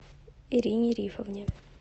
ирине рифовне